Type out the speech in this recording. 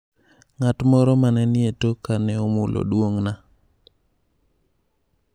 Ng'at moro mane ni e toka ne omulo duong'na .